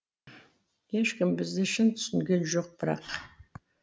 ешкім бізді шын түсінген жоқ бірақ